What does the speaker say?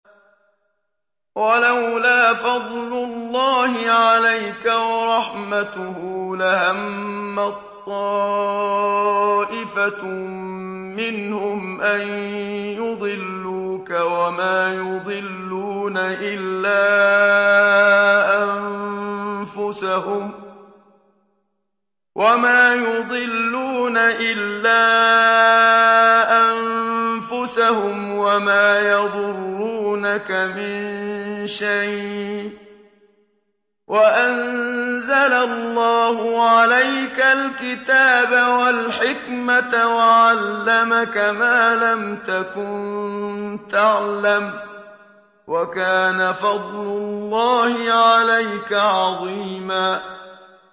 وَلَوْلَا فَضْلُ اللَّهِ عَلَيْكَ وَرَحْمَتُهُ لَهَمَّت طَّائِفَةٌ مِّنْهُمْ أَن يُضِلُّوكَ وَمَا يُضِلُّونَ إِلَّا أَنفُسَهُمْ ۖ وَمَا يَضُرُّونَكَ مِن شَيْءٍ ۚ وَأَنزَلَ اللَّهُ عَلَيْكَ الْكِتَابَ وَالْحِكْمَةَ وَعَلَّمَكَ مَا لَمْ تَكُن تَعْلَمُ ۚ وَكَانَ فَضْلُ اللَّهِ عَلَيْكَ عَظِيمًا